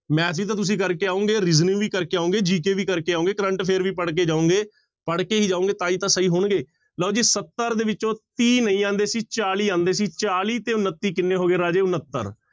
Math ਵੀ ਤਾਂ ਤੁਸੀਂ ਕਰਕੇ ਆਓਗੇ reasoning ਵੀ ਕਰਕੇ ਆਓਗੇ GK ਵੀ ਕਰਕੇ ਆਓਗੇ current affair ਵੀ ਪੜ੍ਹਕੇ ਜਾਓਗੇ ਪੜ੍ਹਕੇ ਹੀ ਜਾਓਗੇ ਤਾਂ ਹੀ ਤਾਂ ਸਹੀ ਹੋਣਗੇ, ਲਓ ਜੀ ਸੱਤਰ ਦੇ ਵਿੱਚੋਂ ਤੀਹ ਨਹੀਂ ਆਉਂਦੇ ਸੀ ਚਾਲੀ ਆਉਂਦੇ ਸੀ, ਚਾਲੀ ਤੇ ਉਣੱਤੀ ਕਿੰਨੇ ਹੋ ਗਏ ਰਾਜੇ, ਉਣੱਤਰ।